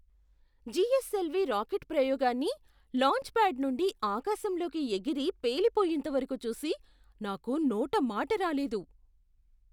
GSLV rocket ప్రయోగాన్ని launchpad నుండి ఆకాశంలోకి ఎగిరి పేలిపోయేంతవరకు చూసి నాకు నోట మాట రాలేదు.